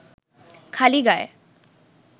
খালি গায়